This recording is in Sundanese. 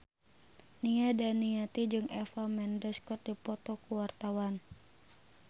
Nia Daniati jeung Eva Mendes keur dipoto ku wartawan